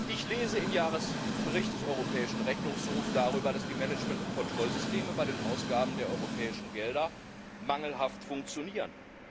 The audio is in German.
Ich lese im Jahresbericht des Europäischen Rechnungshofs darüber, dass die Management und Kontrollsysteme bei den Ausgaben der europäischen Gelder mangelhaft funktionieren.